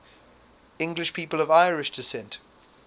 english people of irish descent